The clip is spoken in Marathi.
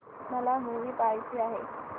मला मूवी पहायचा आहे